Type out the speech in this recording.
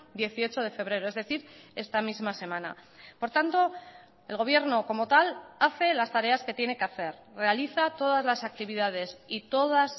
dieciocho de febrero es decir esta misma semana por tanto el gobierno como tal hace las tareas que tiene que hacer realiza todas las actividades y todas